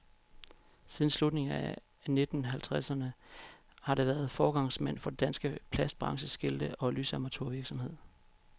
Siden slutningen af nitten halvtredserne har han været foregangsmand for den danske plastbranches skilte og lysamatur virksomhed.